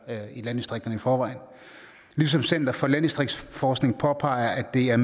i landdistrikterne i forvejen center for landdistriktsforskning påpeger at det er